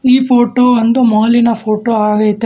ಈ ಫೋಟೋ ಒಂದು ಮಾಲಿನ ಫೋಟೋ ಆಗೈತೆ.